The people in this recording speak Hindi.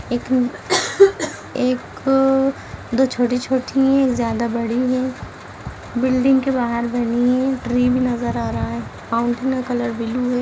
एक एक दो छोटी-छोटी है एक ज्यादा बड़ी है बिल्डिंग के बाहर बनी है ट्री भी नज़र आ रहा है फाउंटेन का कलर बिलु है।